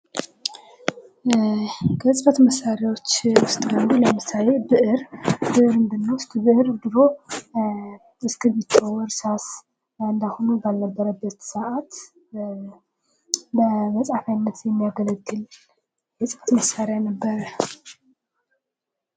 ከጽህፈት መሳሪያዎች ውስጥ አንዱ ለምሳሌ ብዕር ፦ ብዕርን ብንወስድ ብዕር ድሮ እስክርቢቶ ፣እርሳስ እንዳሁኑ ባልነበረበት ሰዓት በመጽሐፊያነት የሚያገለግል የፅህፍት መሳሪያ ነበር ።